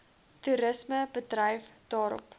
toerisme bedryf daarop